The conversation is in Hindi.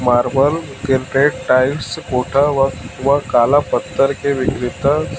मार्बल टाइल्स कोटा वह काला पत्थर के विक्रेता--